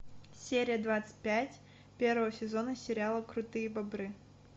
серия двадцать пять первого сезона сериала крутые бобры